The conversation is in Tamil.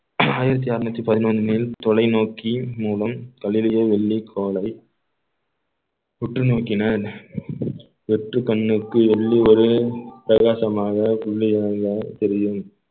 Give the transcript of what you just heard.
ஆயிரத்தி அறுநூத்தி பதினொன்னில் தொலைநோக்கியின் மூலம் கலிலியோ வெள்ளி கோளை உற்று நோக்கினால் வெற்று கண்ணுக்கு ஒரு பிரகாசமாக புள்ளியாக தெரியும்